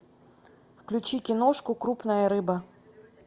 включи киношку крупная рыба